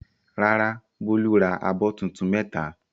Rárá, Bólú ra abọ́ tuntun mẹ́ta.